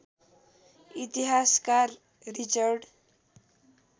इतिहासकार रिचर्ड